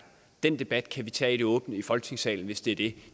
den debat kan vi tage åbent i folketingssalen hvis det er det